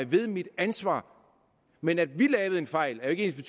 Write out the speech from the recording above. ved mit ansvar men at vi lavede en fejl er jo ikke